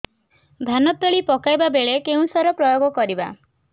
ଧାନ ତଳି ପକାଇବା ବେଳେ କେଉଁ ସାର ପ୍ରୟୋଗ କରିବା